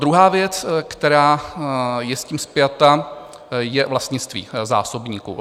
Druhá věc, která je s tím spjata, je vlastnictví zásobníků.